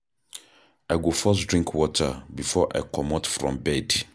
I go first drink water before I comot from bed.